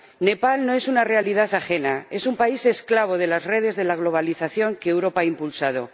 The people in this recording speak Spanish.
Nepal no es una realidad ajena es un país esclavo de las redes de la globalización que Europa ha impulsado.